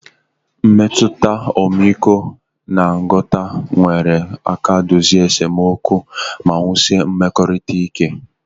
Mmetụta ọmịiko na nghọta nyere aka dozie esemokwu ma wusie mmekọrịta ike